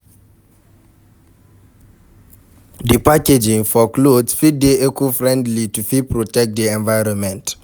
Di packaging for cloth fit dey eco-friendly, to fit protect di environment